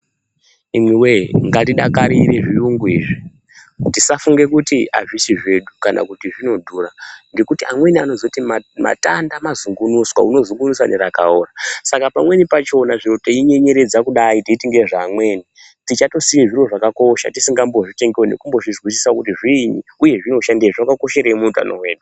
Imiwee ngatidakarire zviyungu izvi tisafunga kuti hazvisi zvedu kana kuti zvinodhura nekuti amweni anozoti matanda mazunguniswa unozungunusa nerakaora saka pamweni pachona zviri teinyenyeredza kudai teiti ndezvevamweni tichatosiya zviro zvakakosha tisingambozvitengiwo tisina kuzvizwisisa kuti zviinyi uye zvakakosherei muutano hwedu.